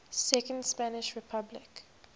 second spanish republic